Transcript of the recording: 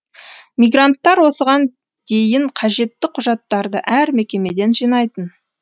мигранттар осыған дейін қажетті құжаттарды әр мекемеден жинайтын